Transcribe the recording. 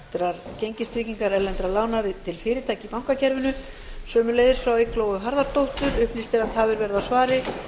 ólögmætrar gengistryggingar erlendra lána til fyrirtækja í bankakerfinu einnig frá eygló harðardóttur upplýst er að tafir verða á svari